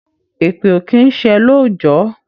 Èpè ò kí ń ṣẹ lóòjọ́